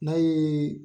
N'a ye